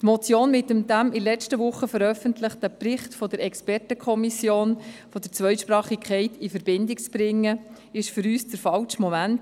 Die Motion mit dem letzte Woche veröffentlichten Bericht der Expertenkommission für Zweisprachigkeit in Verbindung zu bringen, ist für uns der falsche Moment.